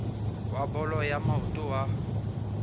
wa bolo ya maoto wa